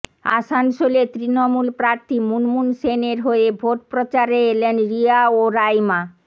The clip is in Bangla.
আসানসোলে তৃণমূল প্রার্থী মুনমুন সেনের হয়ে ভোটপ্রচারে এলেন রিয়া ও রাইমা